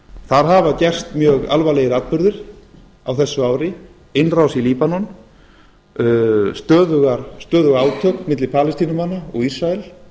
þar hafa gerst mjög alvarlegir atburðir á þessu ári innrás í líbanon stöðug átök milli palestínumanna og ísrael